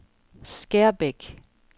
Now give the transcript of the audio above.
Skærbæk